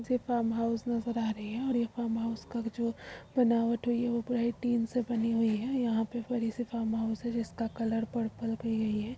ये farm house नजर आ रहें हैं और ये फार्म हाउस का जो बनावट हुई है वो पूरा टीन से बनी हुई है। यहाँ पे बड़ी से फार्म हाउस है। जिसका कलर पर्पल की हुई है।